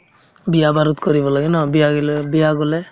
বিয়া-বাৰুত কৰিব লাগে ন বিয়া গিলাত বিয়া গ'লে